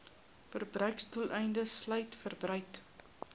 verbruiksdoeleindes sluit verbruik